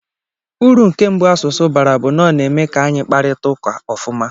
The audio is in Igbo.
Uru nke mbụ asụsụ bara bụ na ọ na-eme ka anyị kparịta ụka ofuma.